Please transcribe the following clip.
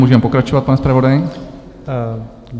Můžeme pokračovat, pane zpravodaji.